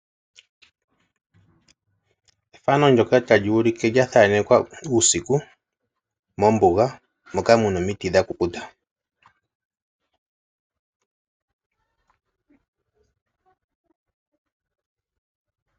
Ethano ndyoka tali ulike yahaanekwa uusiku mombuga moka muna omiti dhakukuta.